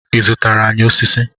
I zụtara anyị osisi?